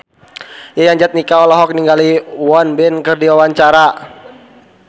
Yayan Jatnika olohok ningali Won Bin keur diwawancara